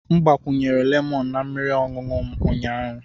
M gbakwunyere lemọnụ na mmiri ọṅụṅụ m ụnyaahụ.